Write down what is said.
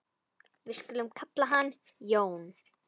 Við skulum kalla hann Jón.